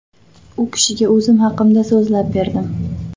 U kishiga o‘zim haqimda so‘zlab berdim.